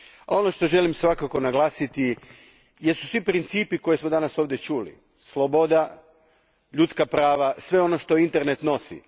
Ono što želim svakako naglasiti jesu svi principi koje smo danas ovdje čuli, sloboda, ljudska prava, sve ono što internet nosi.